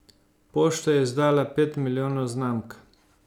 Pošta je izdala pet milijonov znamk.